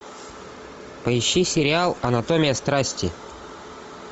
поищи сериал анатомия страсти